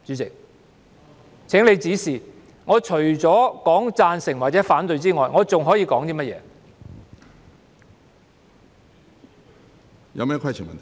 請主席指示，我除了說贊成或反對之外，我還可以說甚麼？